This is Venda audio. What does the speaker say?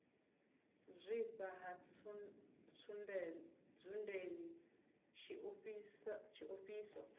u zwifha ha ntsundeni tshiofhiso